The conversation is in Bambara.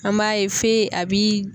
An b'a ye fe a bi